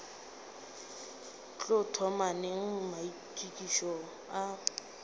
tlo thoma neng maitokišo a